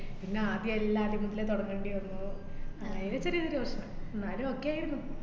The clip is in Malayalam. പിന്നെ ആദ്യേ എല്ലാദ്യം മുതലേ തുടങ്ങേണ്ടി വന്നു. അങ്ങനെ ചെറിയ ചെറിയ പ്രശ്നം എന്നാലും okay ആയിരുന്നു.